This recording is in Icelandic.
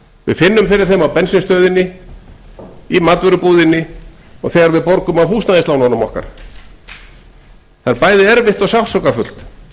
við finnum fyrir þeim á bensínstöðinni í matvörubúðinni og þegar við borgum af húsnæðislánunum okkar það er bæði erfitt og sársaukafullt